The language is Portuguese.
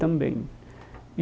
Também e.